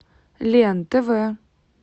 лен тв